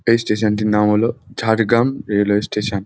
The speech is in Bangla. এই স্টেশন টির নাম হল ঝাড়গ্রাম রেলওয়ে স্টেশন ।